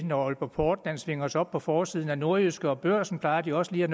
når aalborg portland svinger sig op på forsiden af nordjyske og børsen plejer den også lige at